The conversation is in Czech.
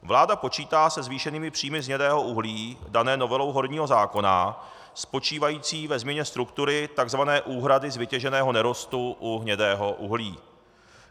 Vláda počítá se zvýšenými příjmy z hnědého uhlí danými novelou horního zákona spočívající ve změně struktury tzv. úhrady z vytěženého nerostu u hnědého uhlí.